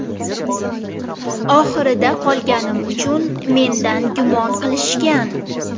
Oxirida qolganim uchun mendan gumon qilishgan.